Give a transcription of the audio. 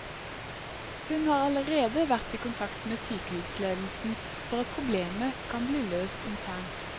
Hun har allerede vært i kontakt med sykehusledelsen for at problemet kan bli løst internt.